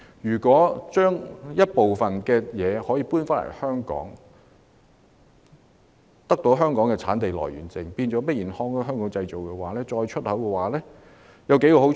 如果將部分工序遷回香港，取得香港的產地來源證，變成 Made in Hong Kong 後再出口，會有數個好處。